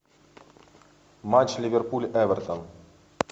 матч ливерпуль эвертон